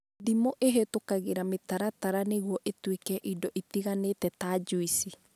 Ndimũ ĩhĩtũkagĩra mĩtaratara nĩguo ĩtuĩke indo itiganĩte ta njuici